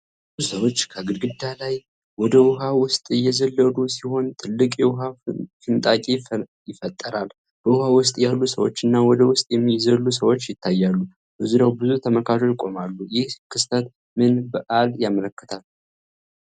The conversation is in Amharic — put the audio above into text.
ብዙ ሰዎች ከግድግዳ ላይ ወደ ውኃ ውስጥ እየዘለሉ ሲሆን ትልቅ የውሃ ፍንጣቂ ይፈጠራል። በውሃ ውስጥ ያሉ ሰዎችና ወደ ውስጥ የሚዘሉ ሰዎች ይታያሉ፤ በዙሪያው ብዙ ተመልካቾች ይቆማሉ። ይህ ክስተት ምን በዓልን ያመለክታል?